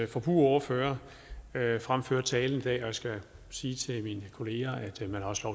forbrugerordfører fremføre talen i dag og jeg skal sige til mine kollegaer at man også